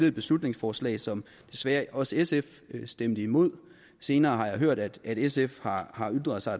et beslutningsforslag som desværre også sf stemte imod senere har jeg hørt at sf har ytret sig